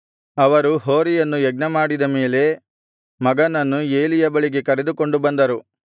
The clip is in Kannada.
ಅವರು ಹೋರಿಯನ್ನು ಯಜ್ಞಮಾಡಿದ ಮೇಲೆ ಮಗನನ್ನು ಏಲಿಯ ಬಳಿಗೆ ಕರೆದುಕೊಂಡು ಬಂದರು